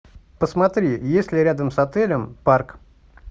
посмотри есть ли рядом с отелем парк